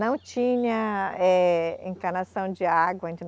Não tinha, eh, encanação de água.